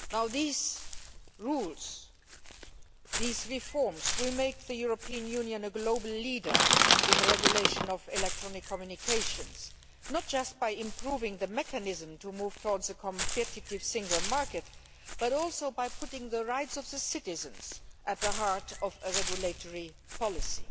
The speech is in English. These rules, these reforms, will make the European Union a global leader in the regulation of electronic communications, not just by improving the mechanism to move towards a competitive single market, but also by putting the rights of the citizens at the heart of a regulatory policy.